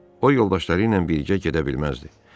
O yoldaşları ilə birgə gedə bilməzdi.